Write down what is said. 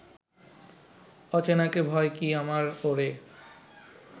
অচেনাকে ভয় কি আমার ওরে